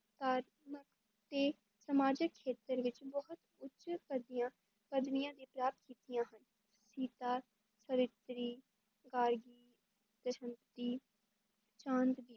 ਤੇ ਸਮਾਜਿਕ ਖੇਤਰ ਵਿੱਚ ਬਹੁਤ ਉੱਚ ਪੱਦੀਆਂ ਪੱਦਵੀਆਂ ਵੀ ਪ੍ਰਾਪਤ ਕੀਤੀਆਂ ਹਨ, ਸੀਤਾ, ਸਵਿਤਰੀ